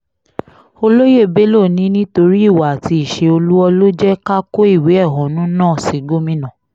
olóyè bello ní nítorí ìwà àti ìṣe olú́ọ́ọ́ ló jẹ́ ká kó ìwé ẹ̀hónú náà sí gómìnà